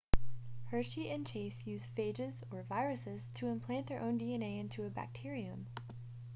hershey and chase used phages or viruses to implant their own dna into a bacterium